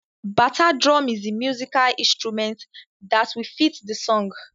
Bata drum is the musical instrument that will fit the song.